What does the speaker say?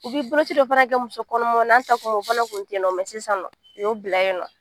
U bɛ boloci dɔ fana kɛ musokɔnɔmaw na anw ta tuma o fana kun tɛ yen nɔ sisan nɔ u y'o bila yen nɔ